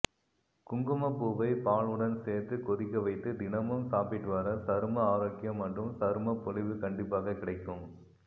குங்குமப் பூவை பாலுடன் சேர்த்து கொதிக்கவைத்து தினமும் சாப்பிட்டு வர சரும ஆரோக்கியம் மற்றும் சருமப் பொலிவு கண்டிப்பாக கிடைக்கும்